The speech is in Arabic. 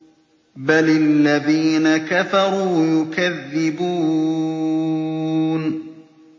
بَلِ الَّذِينَ كَفَرُوا يُكَذِّبُونَ